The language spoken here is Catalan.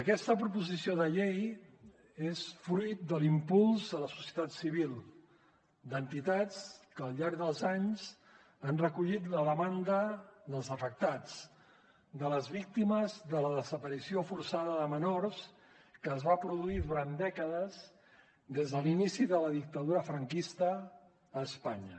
aquesta proposició de llei és fruit de l’impuls de la societat civil d’entitats que al llarg dels anys han recollit la demanda dels afectats de les víctimes de la desaparició forçada de menors que es va produir durant dècades des de l’inici de la dictadura franquista a espanya